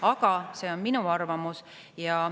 Aga see on minu arvamus.